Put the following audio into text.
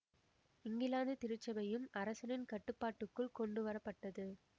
இங்கிலாந்து திருச்சபையும் அரசனின் கட்டுப்பாட்டுக்குள் கொண்டுவர பட்டது